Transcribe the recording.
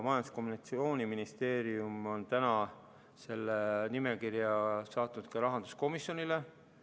Majandus‑ ja Kommunikatsiooniministeerium on selle nimekirja saatnud ka rahanduskomisjonile.